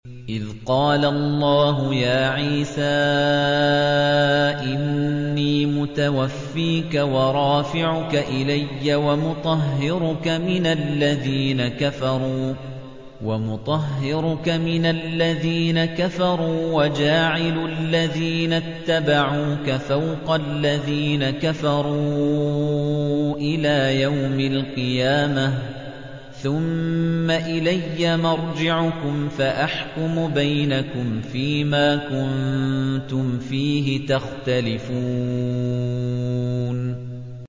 إِذْ قَالَ اللَّهُ يَا عِيسَىٰ إِنِّي مُتَوَفِّيكَ وَرَافِعُكَ إِلَيَّ وَمُطَهِّرُكَ مِنَ الَّذِينَ كَفَرُوا وَجَاعِلُ الَّذِينَ اتَّبَعُوكَ فَوْقَ الَّذِينَ كَفَرُوا إِلَىٰ يَوْمِ الْقِيَامَةِ ۖ ثُمَّ إِلَيَّ مَرْجِعُكُمْ فَأَحْكُمُ بَيْنَكُمْ فِيمَا كُنتُمْ فِيهِ تَخْتَلِفُونَ